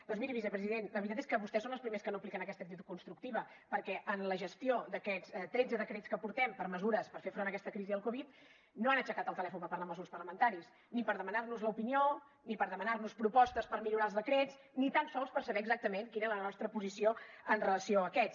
doncs miri vicepresident la veritat és que vostès són els primers que no apliquen aquesta actitud constructiva perquè en la gestió d’aquests tretze decrets que portem de mesures per fer front a aquesta crisi del covid no han aixecat el telèfon per parlar amb els grups parlamentaris ni per demanar nos l’opinió ni per demanar nos propostes per millorar els decrets ni tan sols per saber exactament quina era la nostra posició en relació amb aquests